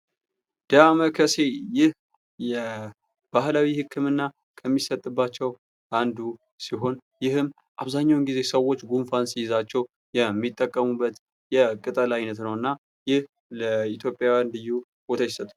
ዳማ ከሴ ይህ የ ባህላዊ ሕክምና ከሚሰጥባቸው አንዱ ሲሆን፤ ይህም አብዛኛውን ጊዜ ሰዎች ጉንፋን ይዛችሁ የሚጠቀሙበት የቅጠል ዓይነት ነውና። ይህ ለኢትዮጵያውያን ልዩ ቦታ ይሰጠዋል።